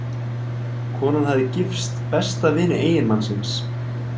Konan hafði gifst besta vini eiginmannsins.